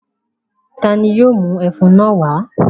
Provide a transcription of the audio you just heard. Ta ni yóò mú ẹfun náà wá?